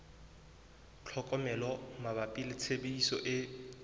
tlhokomelo mabapi le tshebediso e